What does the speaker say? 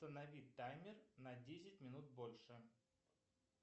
установить таймер на десять минут больше